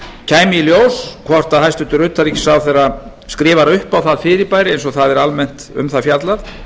kæmi í ljós hvort hæstvirtur utanríkisráðherra skrifar upp á það fyrirbæri eins og það er almennt um það fjallað